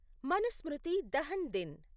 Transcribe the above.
మనుస్మృతి దహన్ దిన్